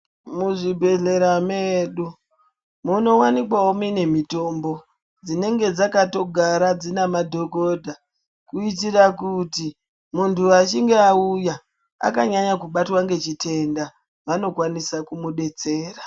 Muzvibhehlera medu munowanikwawo mune mitombo dzinenge dzakatogara dzina madhogodha kuitira kuti, muntu achinga auya akanyanya kubatwa ngechitenda, vanokwanisa kumudetsera.